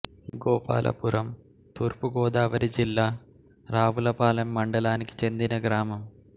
గోపాలపురం తూర్పు గోదావరి జిల్లా రావులపాలెం మండలానికి చెందిన గ్రామం